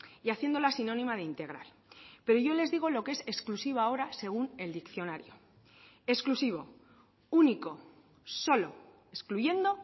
y haciéndola sinónima de integral pero yo les digo lo que es exclusiva ahora según el diccionario exclusivo único solo excluyendo